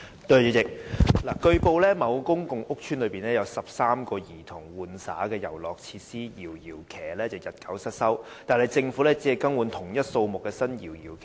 主席，據報，某公共屋邨內有13個供兒童玩耍的遊樂設施"搖搖騎"日久失修，但政府只更換同一數目的新"搖搖騎"。